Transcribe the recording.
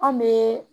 Anw bɛ